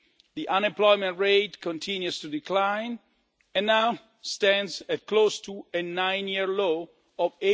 The unemployment rate continues to decline and now stands at close to a nine year low of